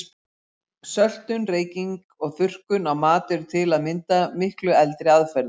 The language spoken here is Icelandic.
Söltun, reyking og þurrkun á mat eru til að mynda miklu eldri aðferðir.